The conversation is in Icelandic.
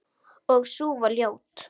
Og sú var ljót!